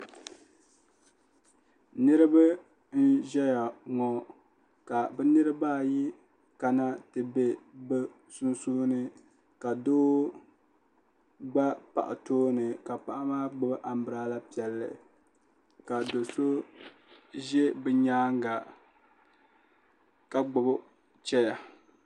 niraba n ʒɛya ŋɔ ka bi niraba ayi kana ti ʒɛ sunsuuni ka doo gba paɣa tooni ka paɣa maa gbubi anbirala piɛlli ka do so ʒɛ bi nyaanga ka gbubi chɛya